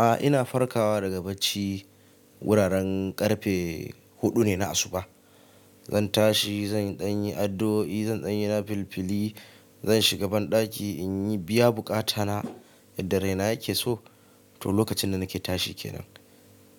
A'a ina farkawa daga bacci wuraren ƙarfe huɗu ne na asuba. Zan tashi, zan ɗanyi addo'i, zan ɗanyi na filifili, zan shiga banɗaki in yi biya buƙata na idan raina yake so. To lokacin da nake tashi kenan.